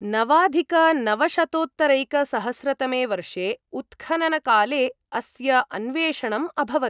नवाधिकनवशतोत्तरैकसहस्रतमे वर्षे उत्खननकाले अस्य अन्वेषणम् अभवत्।